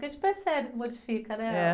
Porque a gente percebe que modifica, né?.